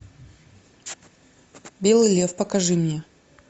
белый лев покажи мне